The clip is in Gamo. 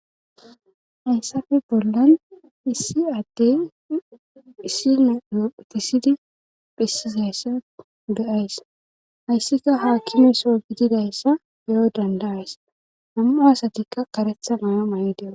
Hayssafe bollan issi adde issi nayophetisidi phisisayssa ge'ays hayssika haakimeso gididayssa beyo dandayays nam'u asatikka karetha maya may7i de'o.